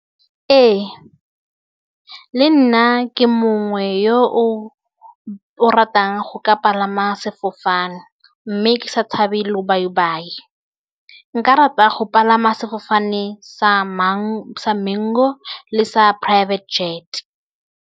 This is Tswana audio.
Ee le nna ke mongwe yo o o ratang go ka palama sefofane mme ke sa tshabe lobaibai, nka rata go palama sefofane sa Mango le sa private jet.